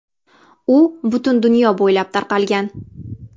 U butun dunyo bo‘ylab tarqalgan.